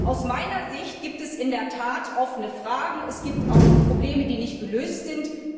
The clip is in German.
Aus meiner Sicht gibt es in der Tat offene Fragen, es gibt auch Probleme, die nicht gelöst sind.